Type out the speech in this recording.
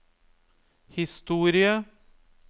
historie